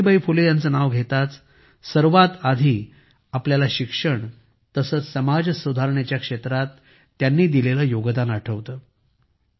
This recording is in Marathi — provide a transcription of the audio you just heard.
सावित्रीबाई फुले यांचे नाव घेताच सर्वात आधी आपल्याला शिक्षण तसेच समाज सुधारणेच्या क्षेत्रात त्यांनी दिलेले योगदान आठवते